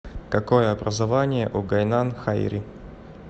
какое образование у гайнан хайри